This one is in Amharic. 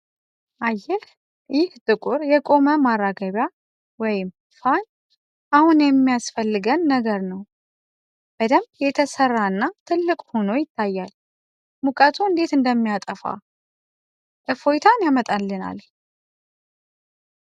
አየህ! ይህ ጥቁር የቆመ ማራገቢያ (ፋን) አሁን የሚያስፈልገን ነገር ነው! በደንብ የተሰራና ትልቅ ሆኖ ይታያል! ሙቀቱ እንዴት እንደሚያጠፋ? እፎይታን ያመጣልናል!